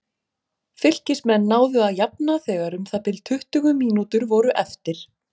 Fylkismenn náðu að jafna þegar um það bil tuttugu mínútur voru eftir.